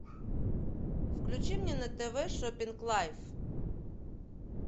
включи мне на тв шопинг лайф